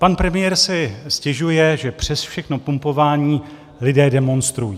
Pan premiér si stěžuje, že přes všechno pumpování lidé demonstrují.